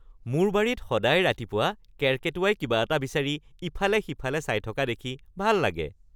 মোৰ বাৰীত সদায় ৰাতিপুৱা কেৰ্কেটুৱাই কিবা এটা বিচাৰি ইফালে সিফালে চাই থকা দেখি ভাল লাগে। (ব্যক্তি ১)